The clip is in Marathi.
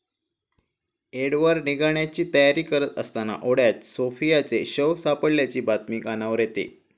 एडवर्ड निघण्याची तयारी करत असताना ओढ्यात सोफियाचे शव सापडल्याची बातमी कानावर येते.